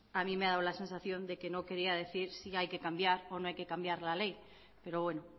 a mí me ha dado la sensación de que no quería decir si hay que cambiar o no hay que cambiar la ley pero bueno